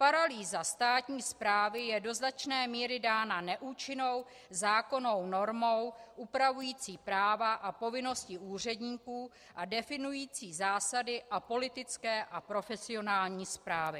Paralýza státní správy je do značné míry dána neúčinnou zákonnou normou upravující práva a povinnosti úředníků a definující zásady a politické a profesionální správy.